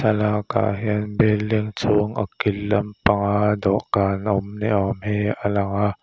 thlalakah hian bel chhung a kil lampangah dawhkan awm ni awm hi a lang a.